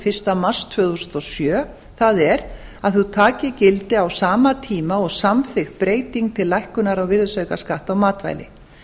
fyrsta mars tvö þúsund og sjö það er að þau taki gildi á sama tíma og samþykkt breyting til lækkunar á virðisaukaskatti á matvæli